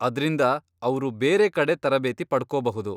ಅದ್ರಿಂದ ಅವ್ರು ಬೇರೆ ಕಡೆ ತರಬೇತಿ ಪಡ್ಕೋಬಹುದು.